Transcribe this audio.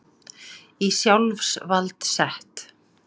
Í sjálfsvald sett